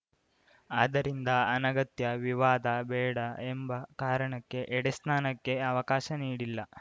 ಆದ್ದರಿಂದ ಅನಗತ್ಯ ವಿವಾದ ಬೇಡ ಎಂಬ ಕಾರಣಕ್ಕೆ ಎಡೆಸ್ನಾನಕ್ಕೆ ಅವಕಾಶ ನೀಡಿಲ್ಲ